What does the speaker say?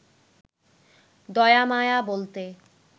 দয়া মায়া বলতে